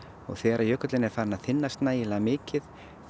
og þegar að jökullinn er farinn að þynnast nægilega mikið